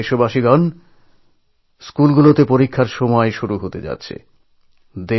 আমার প্রিয় ভাই বোনেরা স্কুলে স্কুলে পরীক্ষা শুরু হতে যাচ্ছে